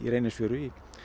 Reynisfjöru